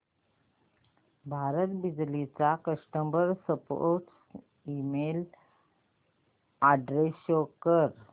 भारत बिजली चा customer support email address show कर